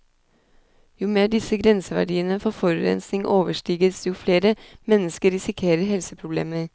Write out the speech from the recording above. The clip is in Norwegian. Jo mer disse grenseverdiene for forurensning overstiges, jo flere mennesker risikerer helseproblemer.